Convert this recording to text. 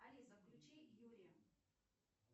алиса включи юрия